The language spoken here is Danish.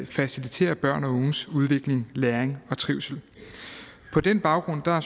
facilitere børns udvikling læring og trivsel på den baggrund er